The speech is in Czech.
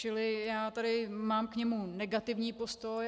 Čili já tady mám k němu negativní postoj.